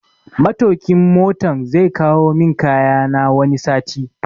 Matokin Motan zai kawo min kayana wani sati